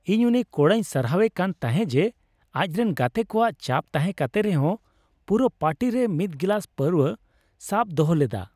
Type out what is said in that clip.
ᱤᱧ ᱩᱱᱤ ᱠᱚᱲᱟᱭᱧ ᱥᱟᱨᱦᱟᱣᱮ ᱠᱟᱱ ᱛᱟᱦᱮᱸ ᱡᱮ ᱟᱡᱨᱮᱱ ᱜᱟᱛᱮ ᱠᱚᱣᱟᱜ ᱪᱟᱯ ᱛᱟᱦᱮᱸ ᱠᱟᱛᱮ ᱨᱮᱦᱚᱸ ᱯᱩᱨᱟᱹ ᱯᱟᱨᱴᱤ ᱨᱮ ᱢᱤᱫ ᱜᱤᱞᱟᱹᱥ ᱯᱟᱹᱣᱨᱟᱹᱭ ᱥᱟᱵ ᱫᱚᱦᱚ ᱞᱮᱫᱟ ᱾